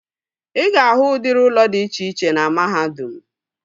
Ị ga-ahụ udịri ụlọ dị iche iche na mahadum